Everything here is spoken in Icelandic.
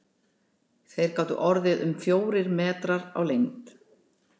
Þeir gátu orðið um fjórir metrar á lengd.